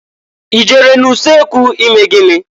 I jere n'ulekwu ime gịnị?